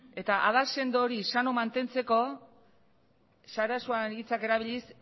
adar sendo hori sano mantentzeko sarasuaren hitzak erabiliz